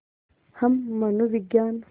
हम मनोविज्ञान